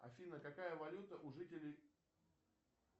афина какая валюта у жителей